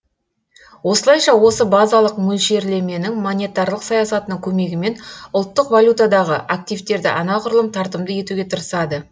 осылайша осы базалық мөлшерлеменің монетарлық саясатының көмегімен ұлттық валютадағы активтерді анағұрлым тартымды етуге тырысады